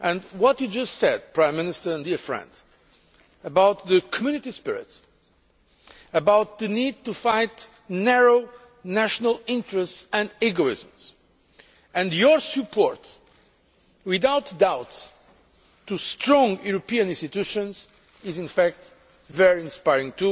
What you just said, Prime Minister and dear friend, about the Community spirit and the need to fight narrow national interests and egotism, and your support, without doubt, to strong European institutions is very inspiring